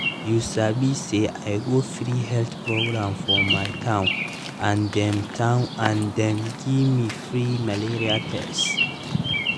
you sabi say i go free health program for my town and dem town and dem gimme free malaria tests